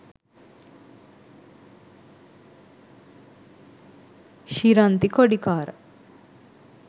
shiranthi kodikara